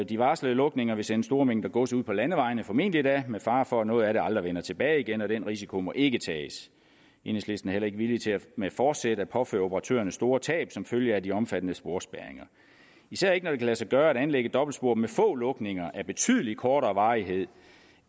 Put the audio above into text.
de varslede lukninger vil sende store mængder gods ud på landevejene formentlig da med fare for at noget af det aldrig vender tilbage igen og den risiko må ikke tages enhedslisten er heller ikke villig til med forsæt at påføre operatørerne store tab som følge af de omfattende sporspærringer især ikke når det kan lade sig gøre at anlægge et dobbeltspor med få lukninger af betydelig kortere varighed